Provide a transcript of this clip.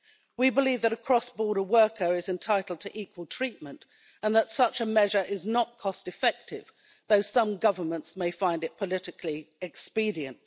We believe that a cross border worker is entitled to equal treatment, and that such a measure is not cost effective, though some governments may find it politically expedient.